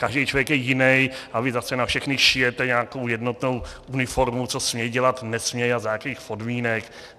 Každej člověk je jinej a vy zase na všechny šijete nějakou jednotnou uniformu, co směj dělat, nesměj a za jakejch podmínek.